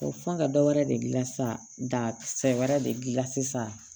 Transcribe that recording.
Fɔ ka dɔ wɛrɛ de gilan sa da kisɛ wɛrɛ de dilan sisan